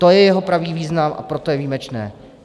To je jeho pravý význam, a proto je výjimečné.